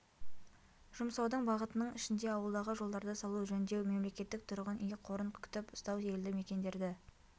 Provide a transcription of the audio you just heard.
жұмсаудың бағытының ішінде ауылдағы жолдарды салу жөндеу мемлекеттік тұрғын үй қорын күтіп ұстау елді мекендерді